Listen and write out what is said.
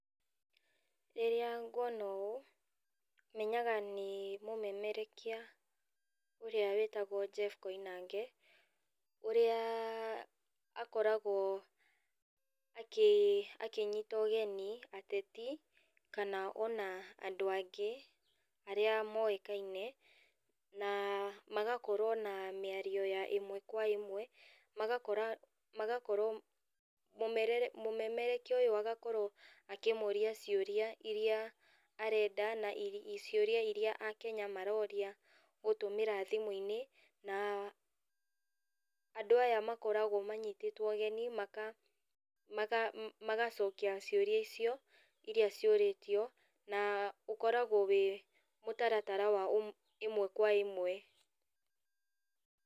Rĩrĩa nguona ũũ, menyaga nĩ mũmemerekia ũrĩa wĩtagwo Jeff Koinange, ũrĩa akoragwo akĩnyita ũgeni ateti kana ona andũ angĩ arĩa moĩkaine na magakorwo na mĩario ya ĩmwe kwa ĩmwe, magakorwo mũmemerekia ũyũ agakorwo akĩmoria ciũria irĩa arenda na ciũria irĩa a Kenya maroria gũtũmĩra thimũ-inĩ na, andũ aya makoragwo manyitĩtwo ũgeni magacokia ciũria icio, na ũkoragwo wĩ mũtaratara wa ĩmwe kwa ĩmwe.